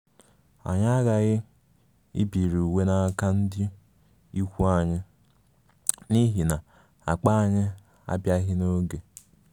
Anyị aghaghị ibiri uwe n’aka ndị ikwu anyị n’ihi na akpa anyị abịaghị n’oge